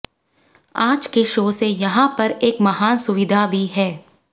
आज के शो से यहां पर एक महान सुविधा भी है